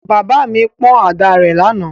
Bàbá mi pọ́n àdá rẹ̀ lánàá.